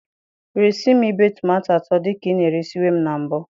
Resị m ibe tomato atọ dị ka ị na-eresiwe m na mbụ.